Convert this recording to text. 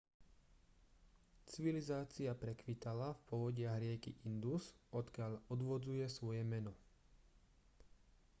civilizácia prekvitala v povodiach rieky indus odkiaľ odvodzuje svoje meno